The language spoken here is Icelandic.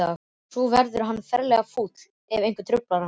Svo verður hann ferlega fúll ef einhver truflar hann.